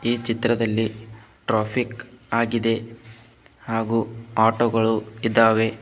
ಈ ಚಿತ್ರದಲ್ಲಿ ಟ್ರಾಫಿಕ್ ಆಗಿದೆ ಹಾಗು ಆಟೋ ಗಳು ಇದಾವೆ.